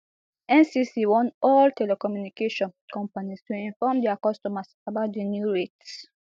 ncc warn all telecommunication companies to inform dia customers about di new rates